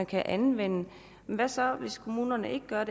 kan anvendes hvad så hvis kommunerne ikke gør